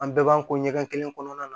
An bɛɛ b'an ko ɲɛgɛn kelen kɔnɔna na